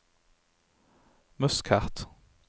Muscat